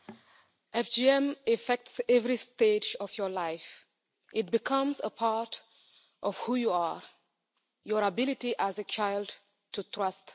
Madam President, FGM affects every stage of your life. It becomes a part of who you are your ability as a child to trust